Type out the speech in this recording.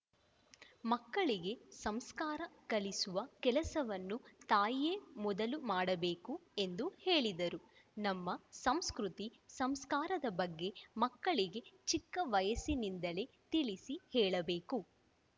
ಮಕ್ಕಳಿಗೆ ಸಂಸ್ಕಾರ ಕಲಿಸುವ ಕೆಲಸವನ್ನು ತಾಯಿಯೇ ಮೊದಲು ಮಾಡಬೇಕು ಎಂದು ಹೇಳಿದರು ನಮ್ಮ ಸಂಸ್ಕೃತಿ ಸಂಸ್ಕಾರದ ಬಗ್ಗೆ ಮಕ್ಕಳಿಗೆ ಚಿಕ್ಕ ವಯಸ್ಸಿನಿಂದಲೇ ತಿಳಿಸಿ ಹೇಳಬೇಕು